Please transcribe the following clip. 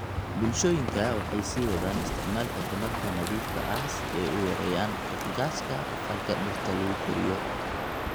Bulshooyinka waxay sii wadaan isticmaalka tamarta nadiifka ah si ay u yareeyaan qiiqa gaaska aqalka dhirta lagu koriyo.